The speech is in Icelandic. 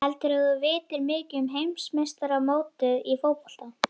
Heldurðu að þú vitir mikið um heimsmeistaramótið í fótbolta?